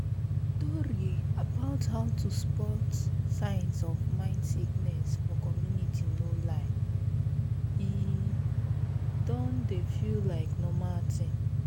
tori about how to spot signs of mind sickness for community no lie e **don dey feel like normal thing